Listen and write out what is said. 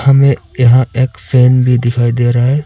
हमे यहां एक फैन भी दिखाई दे रहा है।